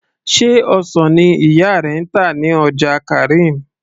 sé ọsàn ni ìyá rẹ ń tà ní ọjà karim